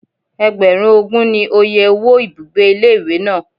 Ẹgbẹ̀rún ogún ni oye owó ibùgbé ilé ìwé náà.